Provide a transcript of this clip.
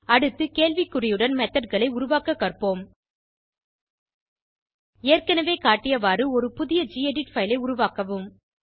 அடுத்து கேள்வி குறியுடன் methodகளை உருவாக்க கற்போம் ஏற்கனவே காட்டியவாறு ஒரு புதிய கெடிட் பைல் ஐ உருவாக்கவும்